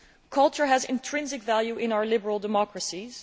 Culture has intrinsic value in our liberal democracies.